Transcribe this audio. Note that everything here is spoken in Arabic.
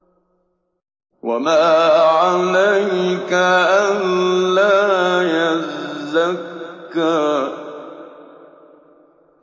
وَمَا عَلَيْكَ أَلَّا يَزَّكَّىٰ